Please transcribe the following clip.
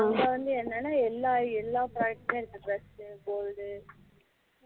இதுல வந்து என்னனா எல்லா எல்லா product இருக்கு dress, gold